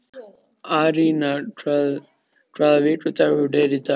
Arína, hvaða vikudagur er í dag?